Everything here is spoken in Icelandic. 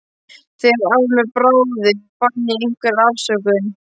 Þegar af mér bráði fann ég einhverja afsökun.